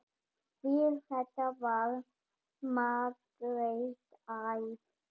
Við þetta varð Margrét æf.